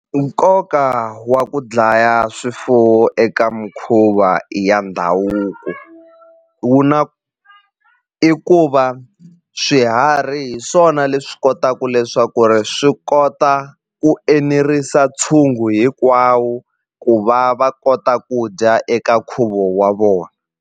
Nkoka wa ku dlaya swifuwo eka mikhuva ya ndhavuko wu na i ku va swiharhi hi swona leswi kotaku leswaku ri swi kota ku enerisa ntshungu hinkwawo ku va va kota ku dya eka nkhuvo wa .